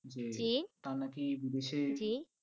জি তার নাকি দেশে